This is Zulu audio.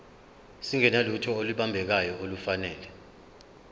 singenalutho olubambekayo nolufanele